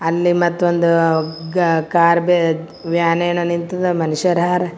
ಅಲ್ಲಿ ಮತ್ತೊಂದು ಗಾ ಕಾರ್ ಬೆಜ್ ವ್ಯಾನ್ ಏನೋ ನಿಂತಿದೆ ಮನಶ್ಶರ್ ಹಾರ್ .